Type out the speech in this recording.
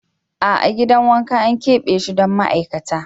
A'a gidan wanka an keɓe shi don ma'aikata.